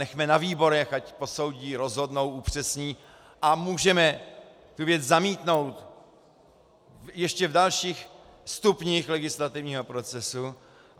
Nechme na výborech, ať posoudí, rozhodnou, upřesní, a můžeme tu věc zamítnout ještě v dalších stupních legislativního procesu.